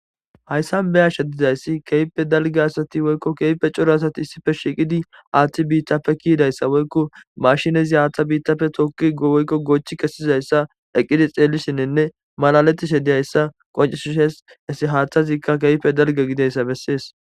hayssan be'ashe dizayssi keype dalge asati woykko keepe coro asati issife shiqidi aaththi biittappe kiidayssa woykko mashinezi haaththa biittapfe tokkigowoykko goochi kesizayssa eqqidi xeelishininne malaleti shediyayssa qoncisu shes hesi haaththazikka keype dalge gideyssa bessees